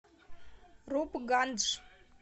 рупгандж